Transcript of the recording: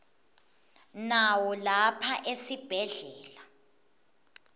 nawo lapha esibhedlela